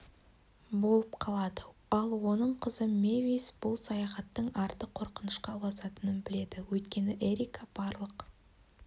болып қалады ал оның қызы мэвис бұл саяхаттың арты қорқынышқа ұласатынын біледі өйткені эрика барлық